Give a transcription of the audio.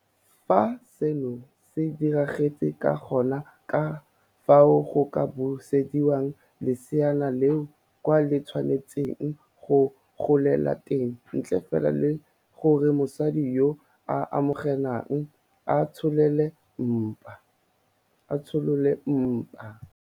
Fa seno se diragetse ga gona ka fao go ka busediwang leseana leno kwa le tshwanetseng go golela teng ntle fela le gore mosadi yo a amegang a tsholole mpa.